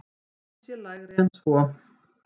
Krafan sé lægri en svo.